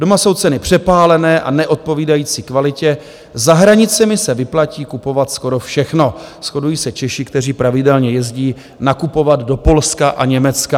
Doma jsou ceny přepálené a neodpovídající kvalitě, za hranicemi se vyplatí kupovat skoro všechno, shodují se Češi, kteří pravidelně jezdí nakupovat do Polska a Německa.